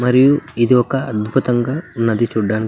మరియు ఇది ఒక అద్భుతంగా ఉన్నది చుడానికి --